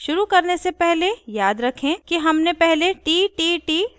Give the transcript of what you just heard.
शुरू करने से पहले याद रखें कि हमने पहले ttt डिरेक्टरी बनायीं थी